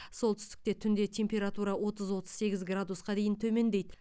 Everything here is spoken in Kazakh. солтүстікте түнде температура отыз отыз сегіз градусқа дейін төмендейді